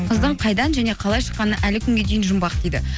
қыздың қайдан және қалай шыққаны әлі күнге дейін жұмбақ дейді